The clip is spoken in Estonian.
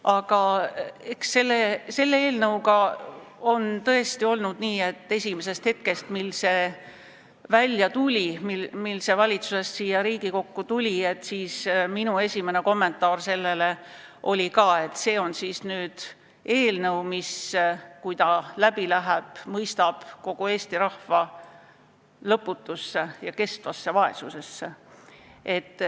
Aga selle eelnõuga on tõesti olnud nii, et kohe, kui see valitsusest siia Riigikokku tuli, siis minu esimene kommentaar oli, et see on siis nüüd eelnõu, mis, kui ta läbi läheb, mõistab kogu Eesti rahva lõputusse vaesusesse.